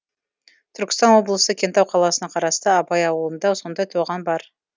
түркістан облысы кентау қаласына қарасты абай ауылында сондай тоған бар